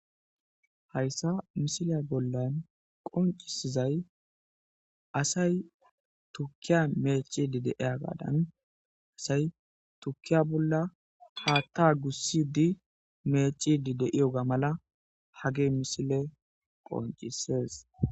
hayssa misiliya bollan qoncisizay asay tukkiya meecidi deiya gaadan asay tukiya bolla haatta gussi di meecidi deiyo ga mala hagee misile qoncisees